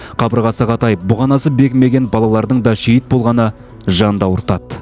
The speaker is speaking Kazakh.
қабырғасы қатайып бұғанасы бекімеген балалардың да шейіт болғаны жанды ауыртады